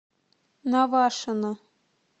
навашино